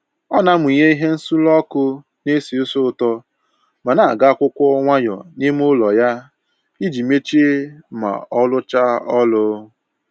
Ọ na amụnye ihe nsuru ọkụ na-esi ísì ụtọ ma na-agụ akwụkwọ nwayọ n'ime ụlọ ya iji mechie ma ọ rụchaa ọrụ